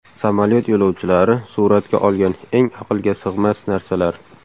Samolyot yo‘lovchilari suratga olgan eng aqlga sig‘mas narsalar.